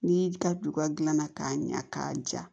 N'i y'i ka duba dilanna k'a ɲɛ k'a ja